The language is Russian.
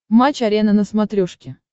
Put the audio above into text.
матч арена на смотрешке